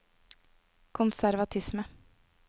konservatisme